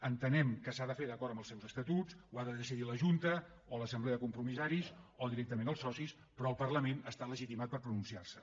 entenem que s’ha de fer d’acord amb els seus estatuts ho ha de decidir la junta o l’assemblea de compromissaris o directament els socis però el parlament està legitimitat per pronunciar s’hi